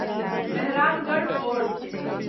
Mehrangarh fort